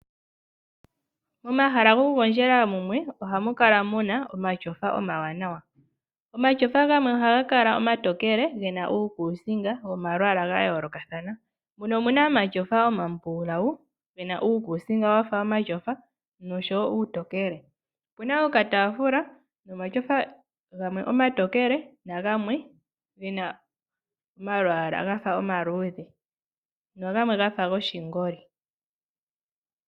Momahala gokugondjela mumwe ohamu kala muna omashofa omawanawa. Omashofa gamwe ohaga kala omatokele, gena uukusinga womalwaala ga yoolokathana. Mumwe omuna omashofa omambulawu gena uukusinga wafa omashofa noshowo uutokele. Opuna okatafula nomashofa gamwe omatokele, na gamwe gena omalwaala gafa omaludhe nogamwe gafa goshingoli.